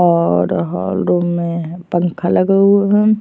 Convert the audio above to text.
और hall room में पंख लगा हुआ है।